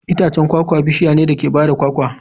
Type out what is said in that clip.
Itacen kwakwa bishiya ce da ke ba da kwakwa.